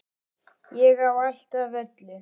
Ég á allt af öllu!